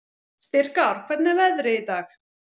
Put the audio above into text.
Styrkár, hvernig er veðrið í dag?